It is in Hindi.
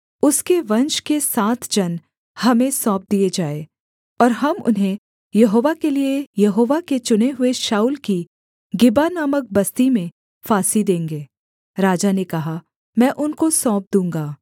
उसके वंश के सात जन हमें सौंप दिए जाएँ और हम उन्हें यहोवा के लिये यहोवा के चुने हुए शाऊल की गिबा नामक बस्ती में फांसी देंगे राजा ने कहा मैं उनको सौंप दूँगा